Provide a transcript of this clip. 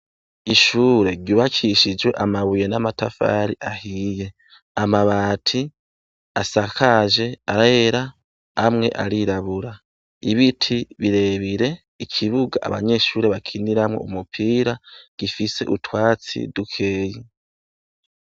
Ishure ryubakishije amabuye n'amatafari ahiye. Amabati asakaje arera, amwe arirabura. Ibiti birebire, ikibuga abanyeshure bakiniramwo umupira, gifise utwatsi dukeyi.